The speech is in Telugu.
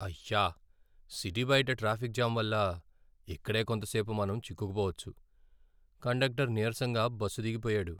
అయ్యా, సిటీ బయట ట్రాఫిక్ జామ్ వల్ల ఇక్కడే కొంత సేపు మనం చిక్కుకుపోవచ్చు! కండక్టర్ నీరసంగా బస్సు దిగిపోయాడు.